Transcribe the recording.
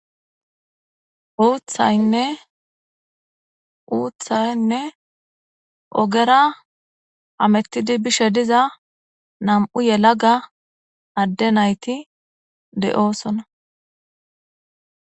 Boothayine uuthaynne ogera amettidi bishe diza nam7u yelaga adde nayti de7oosona